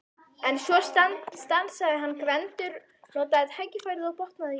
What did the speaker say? Svo stansaði hann en Gvendur notaði tækifærið og botnaði vísuna: